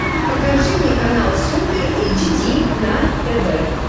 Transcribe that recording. покажи мне канал супер эйч ди на тв